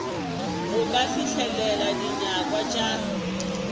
go ka fihlelela dinyakwa tša